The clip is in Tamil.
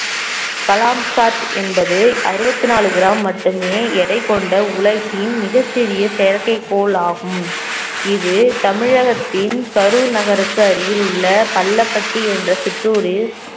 கலாம் சாட் என்பது அறுபத்தி நாலு கிராம் மட்டுமே எடை கொண்ட உலகின் மிகச்சிறிய செயற்கைக் கோள் ஆகும் இது தமிழகத்தின் கரூர் நகருக்கு அருகில் உள்ள பள்ளப்பட்டி என்ற சிற்றூரில்